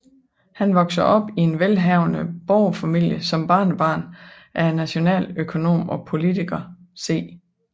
Han voksede op i en velhavende borgerfamilie som barnebarn af nationaløkonom og politiker C